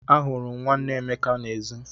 Ahụrụ m nwanne Emeka n'èzí.